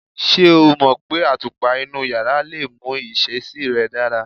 Ṣé o mọ̀ pé àtùpà inú yàrá lè mú ìṣesí rẹ̀ dára?